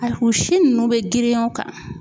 A fin nunnu be girinya i kan